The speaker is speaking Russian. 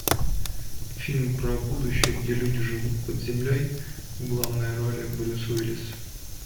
фильм про будущее где люди живут под землей в главной роли брюс уиллис